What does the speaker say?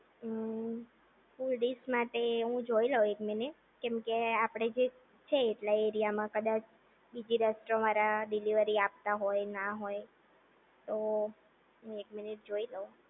હમ્મ full dish માટે હું જોઈ લઉં એક મિનિટ કેમ કે આપણે જે છે એટલા એરિયામાં કદાચ બીજી રેસ્ટોરન્ટ વાળા ડીલેવરી આપતા હોય ના હોય હા તો હું એક મિનિટ જોઈ લઉં